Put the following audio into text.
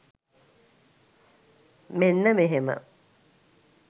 මෙන්න මෙහෙම.